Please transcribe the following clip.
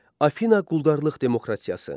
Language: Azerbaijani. Afina quldarlıq demokratiyası.